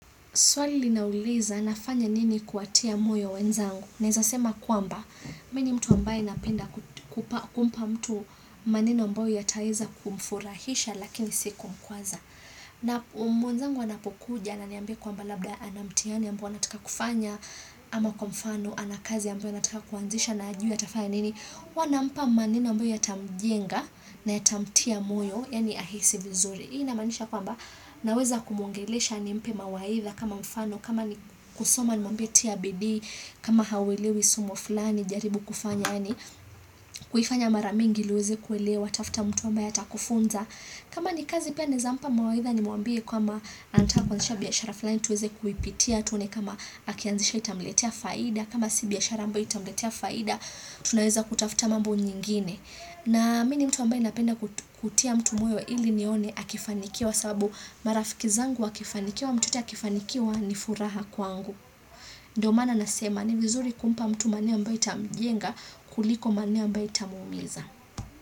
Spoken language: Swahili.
Swali linauliza, nafanya nini kuwatia moyo wenzangu? Naweza sema kwamba mimi ni mtu ambaye napenda kumpa mtu maneno ambayo yataweza kumfurahisha lakini si kumkwaza. Na mwenzangu anapokuja, ananiambia kwamba labda ana mtihani ambao anataka kufanya, ama kwa mfano, ana kazi ambayo anataka kuanzisha na hajui atafanya nini, huwa nampa maneno ambayo yatamjenga na yatamtia moyo, yaani ahisi vizuri. Hii inamaanisha kwamba naweza kumuongelesha nimpe mawaidha kama mfano, kama ni kusoma nimwambie tia bidii, kama hauelewi somo fulani, jaribu kufanya yaani, kuifanya mara mingi ili uweze kuelewa, tafuta mtu ambaye atakufunza. Kama ni kazi pia naweza mpa mawaidha nimwambie kwamba anataka kuanzisha biashara fulani tuweze kuipitia tuone kama akianzisha itamletea faida, kama si biashara ambayo itamletea faida, tunaweza kutafuta mambo nyingine. Na mimi ni mtu ambaye napenda kutia mtu moyo ili nione akifanikiwa sababu marafiki zangu wakifanikiwa mtu yeyote akifanikiwa ni furaha kwangu. Ndiyo maana nasema ni vizuri kumpa mtu maneno ambayo itamjenga kuliko maneno ambayo itamuumiza.